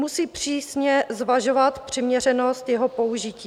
Musí přísně zvažovat přiměřenost jeho použití.